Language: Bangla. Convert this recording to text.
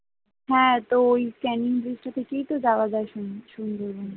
হ্যাঁ তো ওই ক্যানিং থেকেই যাওয়া যায় সুন সুন্দরবন